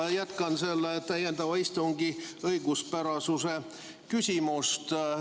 Ma jätkan ikka täiendava istungi õiguspärasuse küsimusega.